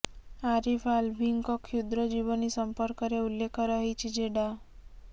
ଆରିଫ ଆଲ୍ଭିଙ୍କ କ୍ଷୁଦ୍ର ଜୀବନୀ ସମ୍ପର୍କରେ ଉଲ୍ଲେଖ ରହିଛି ଯେ ଡା